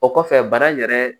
O kɔfɛ bana in yɛrɛ